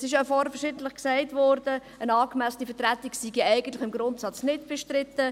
Es wurde vorhin verschiedentlich gesagt, eine angemessene Vertretung sei eigentlich im Grundsatz nicht bestritten.